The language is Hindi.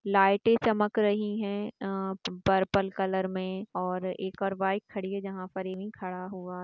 लाइटे चमक रही है अ पर्पल कलर मे और एक और बाइक खड़ी है जहां पर खड़ा हुआ --